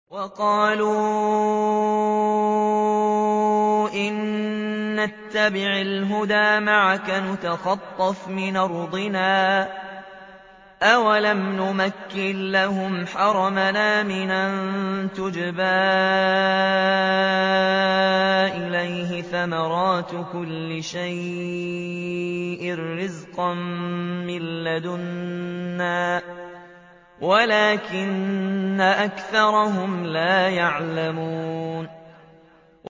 وَقَالُوا إِن نَّتَّبِعِ الْهُدَىٰ مَعَكَ نُتَخَطَّفْ مِنْ أَرْضِنَا ۚ أَوَلَمْ نُمَكِّن لَّهُمْ حَرَمًا آمِنًا يُجْبَىٰ إِلَيْهِ ثَمَرَاتُ كُلِّ شَيْءٍ رِّزْقًا مِّن لَّدُنَّا وَلَٰكِنَّ أَكْثَرَهُمْ لَا يَعْلَمُونَ